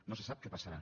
no sé sap què passarà